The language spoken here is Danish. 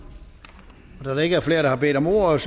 da der ikke er flere der har bedt om ordet